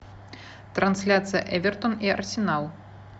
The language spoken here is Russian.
трансляция эвертон и арсенал